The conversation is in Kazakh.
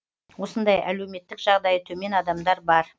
осындай әлеуметтік жағдайы төмен адамдар бар